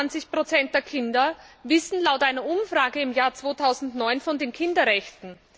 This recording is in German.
22 der Kinder wissen laut einer Umfrage aus dem Jahr 2009 von den Kinderrechten.